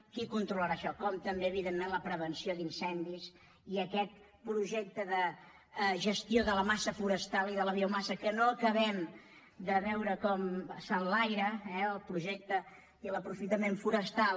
qui controlarà això com també evidentment la prevenció d’incendis i aquest projecte de gestió de la massa forestal i de la biomassa que no acabem de veure com s’enlaira eh el projecte i l’aprofitament forestal